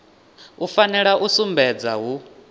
u fanela u sumbedza hu